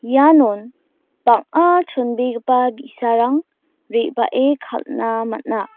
ianon bang·a chonbegipa bi·sarang re·bae kal·na man·a.